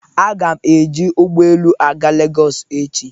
Aga m eji ụgọelu aga Legọsị echi.